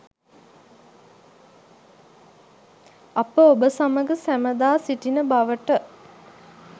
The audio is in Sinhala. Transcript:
අප ඔබ සමග සැමදා සිටින බවට